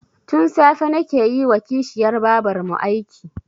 Tun safe nake yi wa kishiyar babarmu aiki